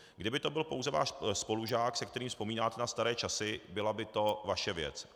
Kdyby to byl pouze váš spolužák, se kterým vzpomínáte na staré časy, byla by to vaše věc.